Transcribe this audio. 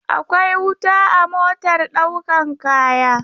Akwai wuta a motar ɗaukan kaya.